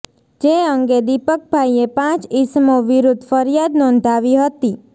જે અંગે દિપકભાઈએ પાંચ ઈસમો વિરૂધ્ધ ફરીયાદ નોંધાવી હતી